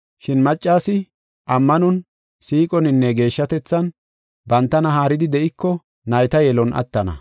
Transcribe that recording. Shin maccasi ammanon, siiqoninne geeshshatethan bantana haaridi de7iko nayta yelon attana.